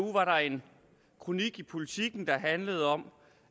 var der en kronik i politiken der handlede om